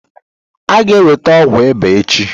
A ga-enweta ọgwụ ịba echi?